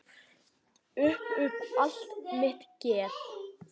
Upp upp allt mitt geð.